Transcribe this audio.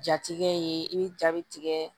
Jatigɛ ye i bɛ ja bɛ tigɛ